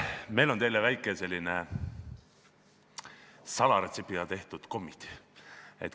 Meil on teile väikesed salaretseptiga tehtud kommid.